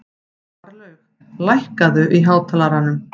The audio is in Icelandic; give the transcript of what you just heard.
Marlaug, lækkaðu í hátalaranum.